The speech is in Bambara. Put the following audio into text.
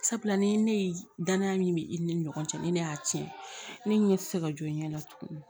Sabula ni ne ye danaya min be i ni ɲɔgɔn cɛ ni ne y'a tiɲɛ ne ɲɛ tɛ se ka jɔ ne la tuguni